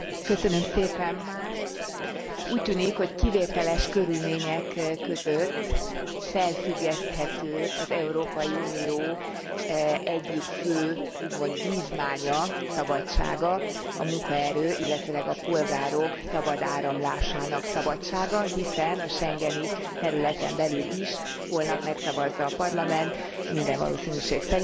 Úgy tűnik, hogy kivételes körülmények között felfüggeszthető az Európai Unió egyik fő, úgymond vívmánya, szabadsága a munkaerő, illetőleg a polgárok szabad áramlásának szabadsága, hiszen a schengeni területen belül is holnap megszavazza a Parlament minden valószínűség szerint visszaállítható lesz